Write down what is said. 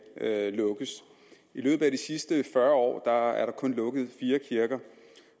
lukkes i løbet af de sidste fyrre år er der kun lukket fire kirker